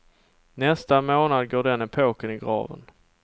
Nästa månad går den epoken i graven.